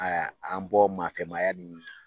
Ɛ an bɔ maafɛmaaya ni